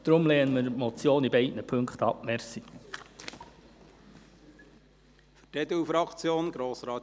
Deshalb lehnen wir beide Ziffern der Motion ab.